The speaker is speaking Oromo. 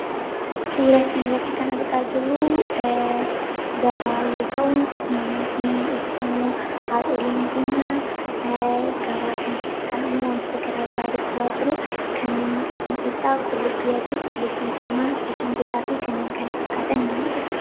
Suura kana irratti kan argaa jirruu, gabaa yoo ta'u, namoonni yookiin immoo haadholiin keenya gabaa keessa taa'anii waantota garaagaraa kanneen mul'atan keessaa qullubbii adii, qullubbii diimaa, jinjimbilaa fi kanneen kana fakkaatan ni mul'atu.